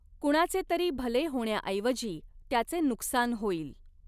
कुणाचेतरी भले होण्याऐवजी त्याचे नुकसान होईल.